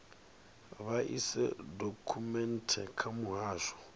vha ise dokhumenthe kha muhasho